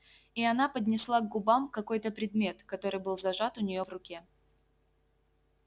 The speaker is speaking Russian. и она поднесла к губам какой-то предмет который был зажат у нее в руке